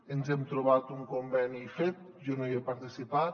ens hem trobat un conveni fet jo no hi he participat